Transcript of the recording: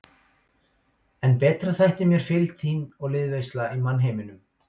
En betri þætti mér fylgd þín og liðveisla í mannheimum.